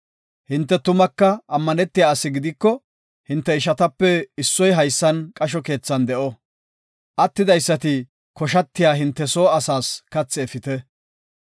Hinte tumaka ammanetiya ase gidiko, hinte ishatape issoy haysan qasho keethan de7o; attidaysati koshatiya hinte soo asaas kathi efite;